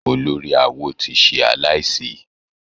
Olórí awo ti ṣe aláìsí.